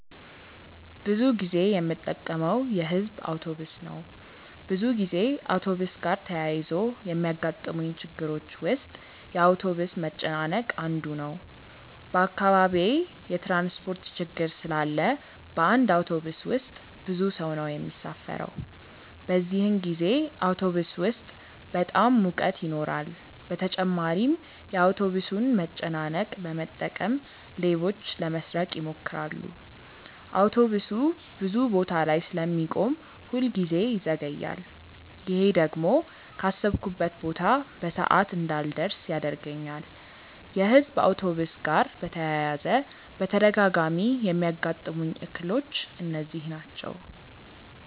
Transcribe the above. ብዙ ጊዜ የምጠቀመው የሕዝብ አውቶብስ ነው። ብዙ ጊዜ አውቶብስ ጋር ተያይዞ ከሚገጥሙኝ ችግሮች ውስጥ የአውቶብስ መጨናነቅ አንዱ ነው። በአካባቢዬ የትራንስፖርት ችግር ስላለ በአንድ አውቶብስ ውስጥ ብዙ ሰው ነው የሚሳፈረው። በዚህን ጊዜ አውቶብስ ውስጥ በጣም ሙቀት ይኖራል በተጨማሪም የአውቶብሱን መጨናነቅ በመጠቀም ሌቦች ለመስረቅ ይሞክራሉ። አውቶብሱ ብዙ ቦታ ላይ ስለሚቆም ሁል ጊዜ ይዘገያል። ይሄ ደግሞ ካሰብኩበት ቦታ በሰዓት እንዳልደርስ ያደርገኛል። የሕዝብ አውቶብስ ጋር በተያያዘ በተደጋጋሚ የሚያጋጥሙኝ እክሎች እነዚህ ናቸው።